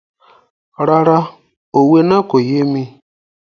Rárá, òwe náà kò yé mi.